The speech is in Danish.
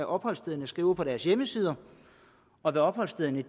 opholdsstederne skriver på deres hjemmesider og hvad opholdsstederne